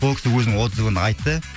ол кісі өзінің отзывын айтты